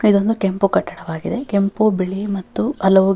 ಇದೊಂದು ಕೆಂಪು ಕಟ್ಟಡವಾಗಿದೆ ಕೆಂಪು ಬಿಳಿ ಮತ್ತು ಹಲವು --